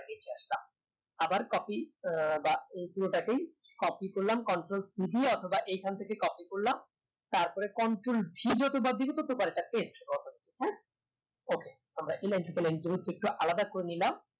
আবার copy আহ বা পুরোটাকেই copy করলাম control c দিয়ে অথবা এইখান থেকেই copy করলাম তারপরে control v okay alright আলাদা করে নিলাম